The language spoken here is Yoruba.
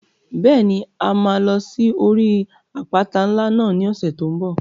Bẹ́ẹ̀ni, a máa lọ sí orí àpáta ńlá náà ní ọ̀sẹ̀ tó n bọ̀